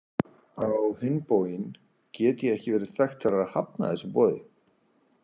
Á hinn bóginn get ég ekki verið þekkt fyrir að hafna þessu boði.